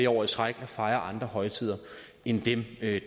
år i træk at fejre andre højtider end dem